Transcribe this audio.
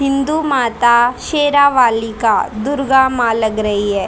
हिंदू माता शेरावाली का दुर्गा मां लग रही है।